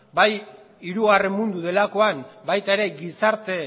bai hirugarren mundu delakoan baita ere gizarte